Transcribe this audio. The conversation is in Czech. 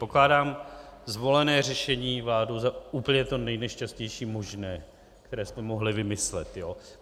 Pokládám zvolené řešení vládou za úplně to nejnešťastnější možné, které jste mohli vymyslet.